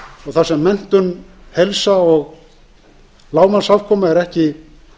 og þar sem menntun heilsa og lágmarksafkoma er ekki